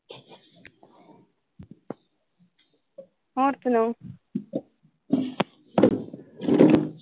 ਹੋਰ ਸੁਣਾਓ